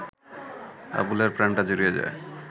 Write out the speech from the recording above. আবুলের প্রাণটা জুড়িয়ে যায়